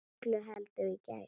Öllu heldur í gær.